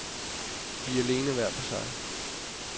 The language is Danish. Vi er alene, hver for sig.